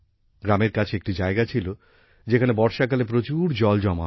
গ্রামের কাছে একটি জায়গা ছিল যেখানে বর্ষাকালে প্রচুর জল জমা হত